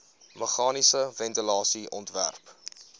meganiese ventilasie ontwerp